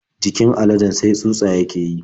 Jikin aladen sai tsutsa yake yi.